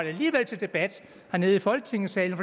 til debat hernede i folketingssalen